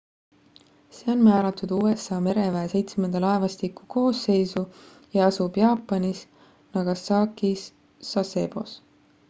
see on määratud usa mereväe seitsmenda laevastiku koosseisu ja asub jaapanis nagasakis sasebos